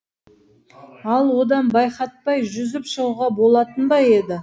ал одан байқатпай жүзіп шығуға болатын ба еді